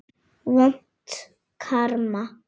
Vont karma.